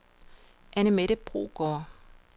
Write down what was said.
Annemette Brogaard